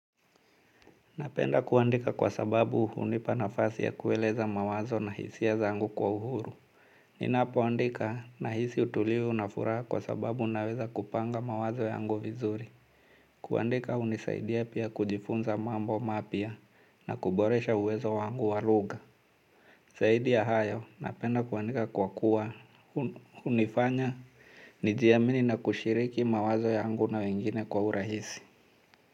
Napenda kuandika kwa sababu unipanafasi ya kueleza mawazo na hisia zangu kwa uhuru. Nina poandika nahisi utulivu na furaha kwa sababu naweza kupanga mawazo yangu vizuri. Kuandika unisaidia pia kujifunza mambo mapya na kuboresha uwezo wangu walugha. Zaidi ya hayo, napenda kuandika kwa kuwa unifanya nijiamini na kushiriki mawazo yangu na wengine kwa urahisi.